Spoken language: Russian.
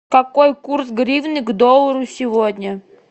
какой курс гривны к доллару сегодня